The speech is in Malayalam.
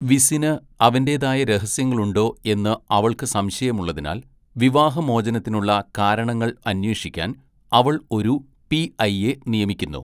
വിസിന് അവന്റേതായ രഹസ്യങ്ങളുണ്ടോ എന്ന് അവൾക്ക് സംശയമുള്ളതിനാൽ വിവാഹമോചനത്തിനുള്ള കാരണങ്ങൾ അന്വേഷിക്കാൻ അവൾ ഒരു പിഐയെ നിയമിക്കുന്നു.